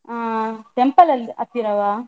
ಹಾ temple ಅಲ್ಲಿ ಹತ್ತಿರವಾ.